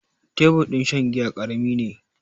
Tebur din shan giya ƙarami ne.